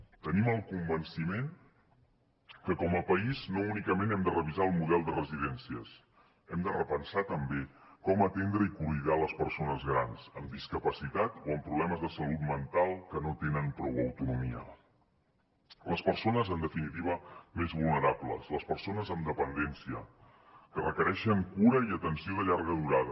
tenim el convenciment que com a país no únicament hem de revisar el model de residències hem de repensar també com atendre i cuidar les persones grans amb discapacitat o amb problemes de salut mental que no tenen prou autonomia les persones en definitiva més vulnerables les persones amb dependència que requereixen cura i atenció de llarga durada